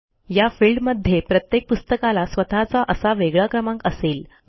या फिल्डमध्ये प्रत्येक पुस्तकाला स्वतःचा असा वेगळा क्रमांक असेल